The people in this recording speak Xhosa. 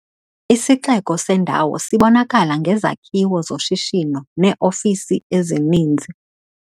Isixeko sendawo sibonakala ngezakhiwo zoshishino neeofisi ezininzi.